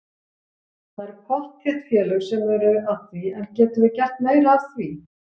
Það eru pottþétt félög sem eru að því en getum við gert meira af því?